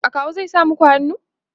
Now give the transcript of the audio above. akawu zai sa maku hannu?